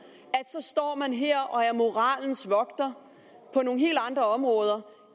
og her og er moralens vogter på nogle helt andre områder